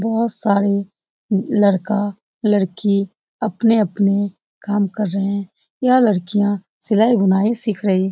बहुत सारे लड़का लड़की अपने-अपने काम कर रहे हैं यह लड़कियां सिलाई बुनाई सीख रही है।